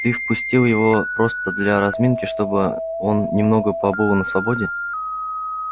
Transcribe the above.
ты впустил его просто для разминки чтобы он немного побыл на свободе